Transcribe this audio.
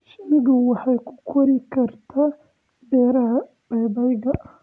Shinnidu waxay ku kori kartaa beeraha babayga.